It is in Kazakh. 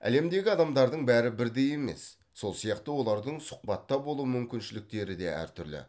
әлемдегі адамдардың бәрі бірдей емес сол сияқты олардың сұхбатта болу мүмкіншіліктері де әртүрлі